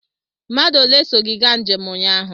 Mmadụ ole so gị gaa njem ụnyaahụ?